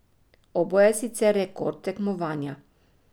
Oboje je sicer rekord tekmovanja.